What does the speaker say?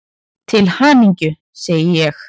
Til hamingju, segi ég.